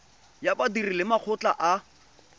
ya badiri le makgotla a